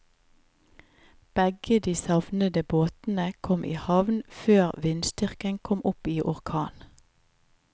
Begge de savnede båtene kom i havn før vindstyrken kom opp i orkan.